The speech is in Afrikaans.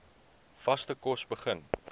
vaste kos begin